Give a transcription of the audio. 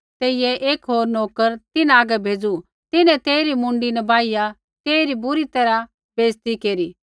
तेइयै एक होर नोकर तिन्हां हागै भेज़ू तिन्हैं तेइरी मुँडी न बाहिया तेइरा बुरी तैरहा अपमान केरू